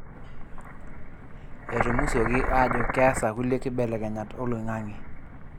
Etumusuoki ajo keasa kulie kibelekenyat oloing'ang'e.